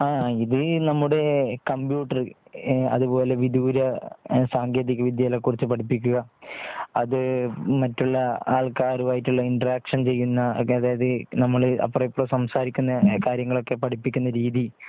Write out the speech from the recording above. ഹാ ഇതില് നമ്മുടെ കമ്പ്യൂട്ടർ അതുപോലെ വിദൂര സാങ്കേതിക വിദ്യ കളെ കുറിച്ച് പഠിപ്പിക്കുക. അതു മറ്റുള്ള ആള്‍ക്കാരുമായിട്ടുള്ള ഇന്റർ ആക്ഷൻ ചെയ്യുന്ന അതായത് നമ്മൾ അപ്പർവുംഇപ്പറവും സംസാരിക്കുന്ന കാര്യങ്ങളൊക്കെ പഠിപ്പിക്കുന്ന രീതി.